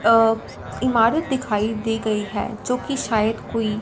अ इमारत दिखाई दी गई है जोकि शायद कोई--